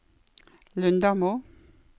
Lundamo